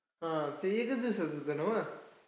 हम्म ते एकच दिवसांचं होतं न्हवं?